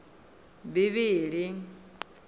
bivhili